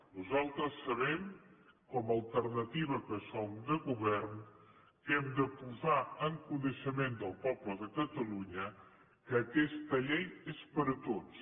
nosaltres sabem com a alternativa que som de govern que hem de posar en coneixement del poble de catalunya que aquesta llei és per a tots